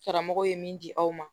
Karamɔgɔw ye min di aw ma